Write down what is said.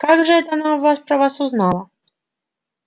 как же это она вас про вас узнала